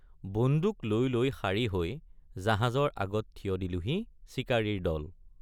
বন্দুক লৈ লৈ শাৰী হৈ জাহাজৰ আগত থিয় দিলোহি চিকাৰীৰ দল।